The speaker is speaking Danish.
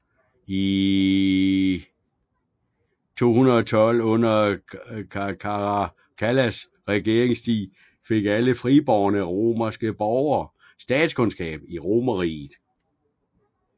I 212 under Caracallas regeringstid fik alle fribårne romerske borger statsborgerskab i Romerriget